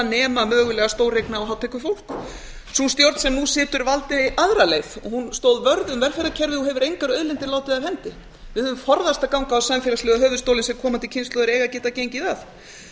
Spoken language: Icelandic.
nema mögulega stóreigna og hátekjufólk sú stjórn sem nú situr valdi aðra leið hún stóð vörð um velferðarkerfið og hefur engar auðlindir látið af hendi við höfum forðast að ganga á samfélagslega höfuðstólinn sem komandi kynslóðir eiga að geta gengi að